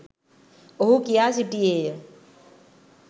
ඔහු කියා සිටියේය.